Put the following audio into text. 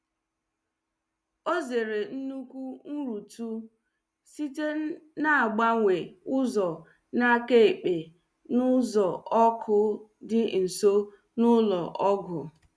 o zere nnukwu nrutu site na -agbanwe ụzọ n’aka ekpe n’ụzọ ọkụ dị nso na ụlọ ọgwụ.